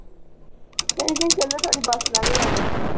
ਨਹੀਂ ਨਹੀਂ ਚੱਲੋ ਤੁਹਾਡੀ ਬੱਸ ਲੰਘ ਜਾਣੀ।